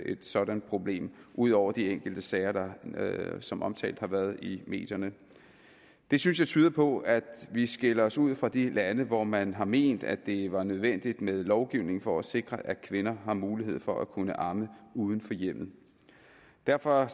et sådant problem ud over de enkelte sager der som omtalt har været i medierne det synes jeg tyder på at vi skiller os ud fra de lande hvor man har ment at det var nødvendigt med lovgivning for at sikre at kvinder har mulighed for at kunne amme uden for hjemmet derfor